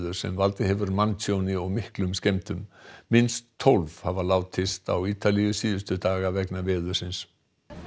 sem valdið hefur manntjóni og miklum skemmdum minnst tólf hafa látist á Ítalíu síðustu daga vegna veðursins